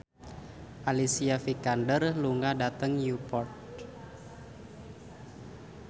Alicia Vikander lunga dhateng Newport